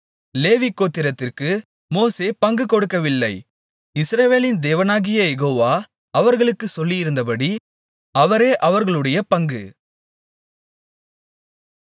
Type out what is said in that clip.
லேவி கோத்திரத்திற்கு மோசே பங்கு கொடுக்கவில்லை இஸ்ரவேலின் தேவனாகிய யெகோவா அவர்களுக்குச் சொல்லியிருந்தபடி அவரே அவர்களுடைய பங்கு